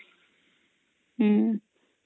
ହଁ